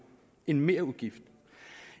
en merudgift